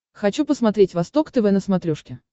хочу посмотреть восток тв на смотрешке